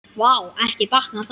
Vá, ekki batnar það!